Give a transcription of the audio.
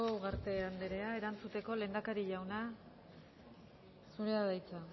ugarte anderea erantzuteko lehendakari jauna zurea da hitza